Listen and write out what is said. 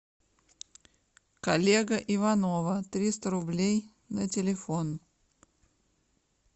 коллега иванова триста рублей на телефон